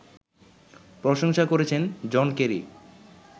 প্রশংসা করেছেন John Kerry